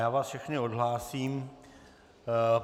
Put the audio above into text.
Já vás všechny odhlásím.